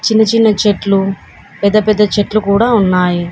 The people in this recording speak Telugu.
చిన్న చిన్న చెట్లు పెద్ద పెద్ద చెట్లు కూడా ఉన్నాయి.